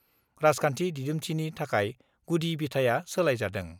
राजखान्थि दिदोमथिनि थाखाय गुदि बिथाया सोलायजादों।